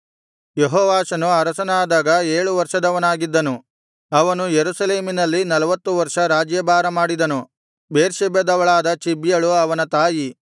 ಯೆಹೋವಾಷನು ಅರಸನಾದಾಗ ಏಳು ವರ್ಷದವನಾಗಿದ್ದನು ಅವನು ಯೆರೂಸಲೇಮಿನಲ್ಲಿ ನಲ್ವತ್ತು ವರ್ಷ ರಾಜ್ಯಭಾರ ಮಾಡಿದನು ಬೇರ್ಷೆಬದವಳಾದ ಚಿಬ್ಯಳು ಅವನ ತಾಯಿ